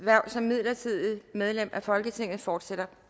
hverv som midlertidigt medlem af folketinget fortsætter